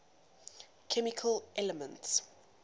chemical elements